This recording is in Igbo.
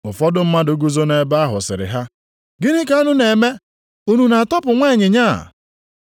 ụfọdụ mmadụ guzo nʼebe ahụ sịrị ha, “Gịnị ka unu na-eme, unu na-atọpụ nwa ịnyịnya a?”